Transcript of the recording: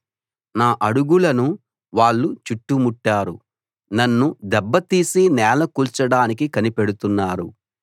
నా అడుగులను వాళ్ళు చుట్టుముట్టారు నన్ను దెబ్బతీసి నేలకూల్చడానికి కనిపెడుతున్నారు